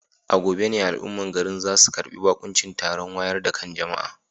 A gobe ne al'ummar garin za su karbi bakuncin taron wayar da kan jama'a.